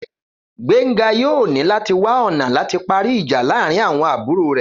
Gbénga yóò ní láti wá ọ̀nà láti parí ìjà láàárín àwọn àbúrò rẹ̀